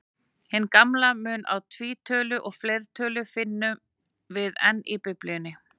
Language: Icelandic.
Hinn gamla mun á tvítölu og fleirtölu finnum við enn í Biblíunni.